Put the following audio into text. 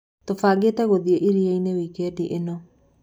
Tũbangĩte gũthiĩ irianĩ wikedi ĩno.